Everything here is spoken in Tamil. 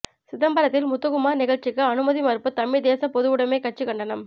சிதம்பரத்தில் முத்துக்குமார் நிகழ்ச்சிக்கு அனுமதி மறுப்பு தமிழ்த் தேசப் பொதுவுடைமைக் கட்சி கண்டனம்